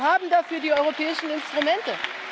Wir haben dafür die europäischen Instrumente.